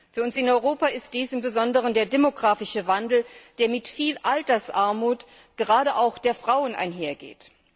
Für uns in Europa ist dies im Besonderen der demografische Wandel, der mit viel Altersarmut, gerade auch der Frauen, einhergeht.